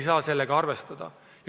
Sedasi ei saa.